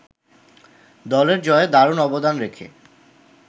দলের জয়ে দারুণ অবদান রেখে